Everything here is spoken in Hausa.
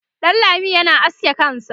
Danlami yana aske kansa